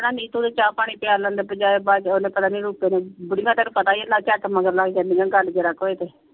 ਨੀਤੂ ਨੇ ਚਾ ਪਾਣੀ ਪਿਆਲਣ ਦੇ ਬਜਾਏ ਬਾਅਦ ਚ ਓਹਨੇ ਪਤਾ ਨੀ ਰੂਪੇ ਨੇ ਬੁੜੀਆਂ ਤੈਨੂੰ ਪਤਾ ਹੀ ਆ ਝੱਟ ਮਗਰ ਲਗ ਜਾਂਦੀਆਂ ਗੱਲ ਜ਼ਰਾ ਕ ਹੋਏ ਤੇ।